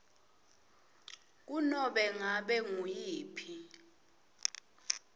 kunobe ngabe nguyiphi